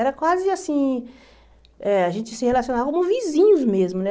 Era quase assim eh... A gente se relacionava como vizinhos mesmo, né?